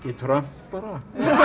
Trump bara